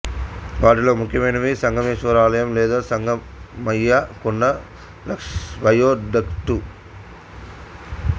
వాటిలో ముఖ్యమైనవి సంగమేశ్వర ఆలయం లేదా సంగమయ్య కొండ వయోడక్టు